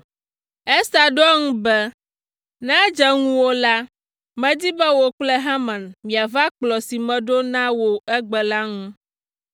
Ester ɖo eŋu be, “Ne edze ŋuwò la, medi be wò kple Haman miava kplɔ̃ si meɖo na wò egbe la ŋu.”